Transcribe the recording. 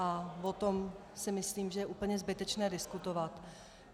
A o tom si myslím, že je úplně zbytečné diskutovat.